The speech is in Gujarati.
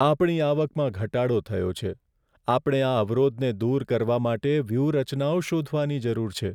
આપણી આવકમાં ઘટાડો થયો છે! આપણે આ અવરોધને દૂર કરવા માટે વ્યૂહરચનાઓ શોધવાની જરૂર છે.